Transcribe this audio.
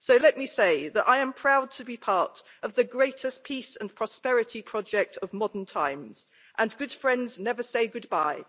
So let me say that I am proud to be part of the greatest peace and prosperity project of modern times, and good friends never say goodbye.